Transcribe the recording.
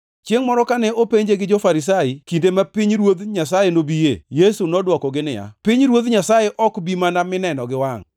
Chiengʼ moro, kane openje gi jo-Farisai kinde ma pinyruodh Nyasaye nobiye, Yesu nodwokogi niya, “Pinyruoth Nyasaye ok bi mana mineno gi wangʼ,